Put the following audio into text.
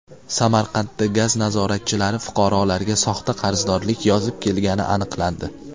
Samarqandda gaz nazoratchilari fuqarolarga soxta qarzdorlik yozib kelgani aniqlandi.